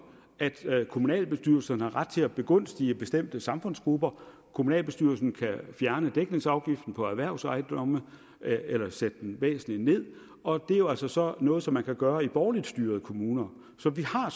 at kommunalbestyrelsen har ret til at begunstige bestemte samfundsgrupper kommunalbestyrelsen kan fjerne dækningsafgiften på erhvervsejendomme eller sætte den væsentligt ned og det er jo altså så noget som man kan gøre i borgerligt styrede kommuner så vi har